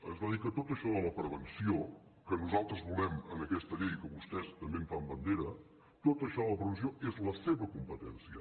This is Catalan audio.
ens va dir que tot això de la prevenció que nosaltres volem en aquesta llei que vostès també en fan bandera tot això de la prevenció és la seva competència